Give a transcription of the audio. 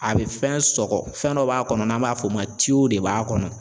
A bɛ fɛn sɔgɔ fɛn dɔ b'a kɔnɔ n'an b'a f'o ma de b'a kɔnɔ.